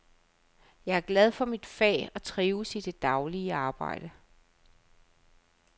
Jeg er glad for mit fag og trives i det daglige arbejde.